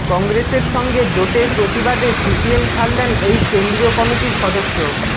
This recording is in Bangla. কংগ্রেসের সঙ্গে জোটের প্রতিবাদে সিপিএম ছাড়লেন এই কেন্দ্রীয় কমিটির সদস্য